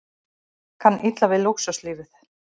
Kann illa við lúxuslífið